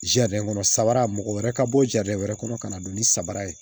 kɔnɔ sabaara mɔgɔ wɛrɛ ka bɔ wɛrɛ kɔnɔ ka na don ni sabara ye